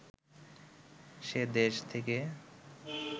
সে দেশ থেকে